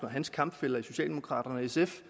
og hans kampfæller i socialdemokraterne og sf